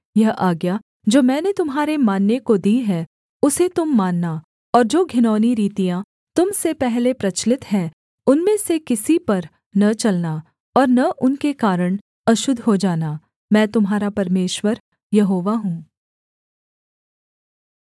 यह आज्ञा जो मैंने तुम्हारे मानने को दी है उसे तुम मानना और जो घिनौनी रीतियाँ तुम से पहले प्रचलित हैं उनमें से किसी पर न चलना और न उनके कारण अशुद्ध हो जाना मैं तुम्हारा परमेश्वर यहोवा हूँ